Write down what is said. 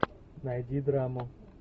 найди драму